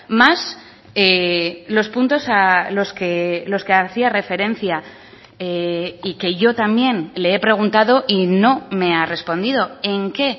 más los puntos a los que hacía referencia y que yo también le he preguntado y no me ha respondido en qué